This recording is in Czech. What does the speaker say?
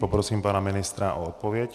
Poprosím pana ministra o odpověď.